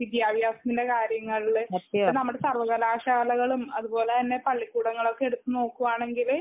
വിട്ട്യാഭ്യസത്തിന്റെ കാര്യങ്ങളില് ഇപ്പൊ നമ്മുടെ സർവകലാശാലകളും അതുപോലെ തന്നെ പള്ളിക്കുടങ്ങള് എടുത്തു നോക്കുവാണെങ്കില്